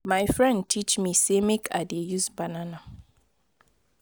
my friend teach me say make i dey use banana